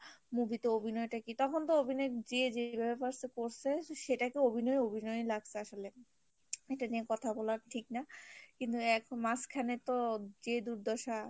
movie তে অভিনয় টা কি তখন তো অভিনয় যে যেভাবে পারছে করসে সেটাই তো অভিনয় অভিনয়ই লাগছে আসলে এটা নিয়ে কথা বলা ঠিক না কিন্তু মাজখানে তো যে দুর্দশা